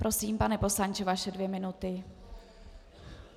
Prosím, pane poslanče, vaše dvě minuty.